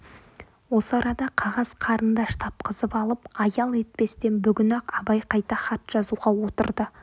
осы арада қағаз қарындаш тапқызып алып аял етпестен бүгін-ақ абай қайта хат жазуға отырды